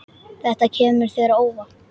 Þetta kemur þér á óvart.